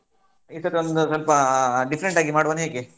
ಈ ಸತಿ ಒಂದು ಸ್ವಲ್ಪ different ಆಗಿ ಮಾಡ್ವಾನ ಹೇಗೆ?